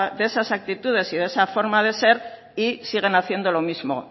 de esas actitudes y de esa forma de ser y siguen haciendo lo mismo